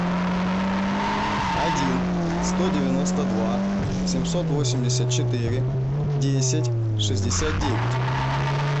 один сто девяносто два семьсот восемьдесят четыре десять шестьдесят девять